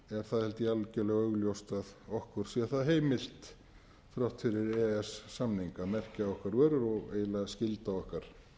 það held ég algjörlega augljóst að okkur sé það heimilt þrátt fyrir e e s samninga að merkja okkar vörur og eiginlega skylda okkar